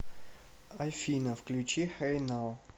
афина включи хэй нау